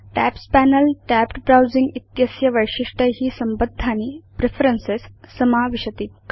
tabs panel tabbed browsing इत्यस्य वैशिष्ट्यै संबद्धानि प्रेफरेन्सेस् समावेष्टि